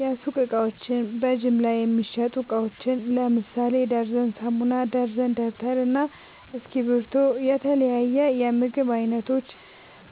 የሱቅ እቃዎች በጅምላ የሚሸጡ እቃዎች ለምሳሌ ደርዘን ሳሙና፣ ደርዘን ደብተር እና እስኪብርቶ የተለያዬ የምግብ አይነቶች